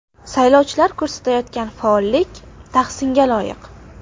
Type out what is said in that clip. Saylovchilar ko‘rsatayotgan faollik tahsinga loyiq.